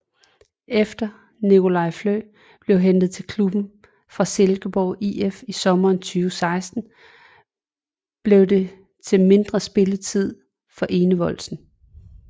Efter Nicolai Flø blev hentet til klubben fra Silkeborg IF i sommeren 2016 blev det til mindre spilletid for Enevoldsen